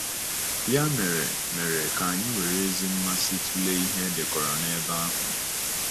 Ya mere, mere, ka anyị were ezi mmasị tụlee ihe e dekọrọ n’ebe ahụ.